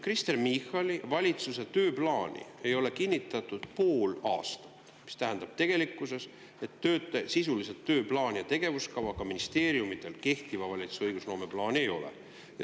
Kristen Michali valitsuse tööplaani ei ole kinnitatud pool aastat, mis tähendab tegelikkuses, et sisuliselt tööplaani ja tegevuskava ka ministeeriumidel ei ole, kehtiva valitsuse õigusloome plaani neil ei ole.